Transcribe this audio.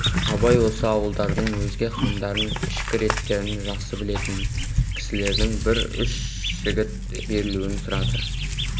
абай осы ауылдардың өзге қамдарын ішкі реттерін жақсы білетін кісілерден бір үш жігіт берілуін сұрады